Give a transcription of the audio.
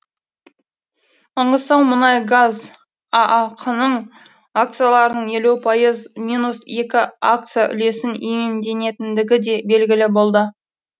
маңғыстаумұнайгаз аақ ның акцияларының елу пайыз минус екі акция үлесін иемденетіндігі де белгілі болды